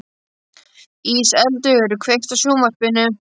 Íseldur, kveiktu á sjónvarpinu.